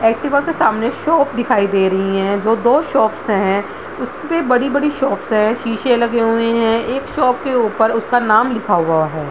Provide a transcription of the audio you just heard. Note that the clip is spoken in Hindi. एक्टिवा के सामने शॉप दिखाई दे रही है जो दो शॉप्स है उसमे बड़ी-बड़ी शॉप्स है शीशे लगे हुए है एक शॉप के ऊपर उसका नाम लिखा हुआ है।